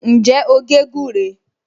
Ǹjẹ́ o gé gúré?